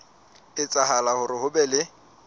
etsahala hore ho be le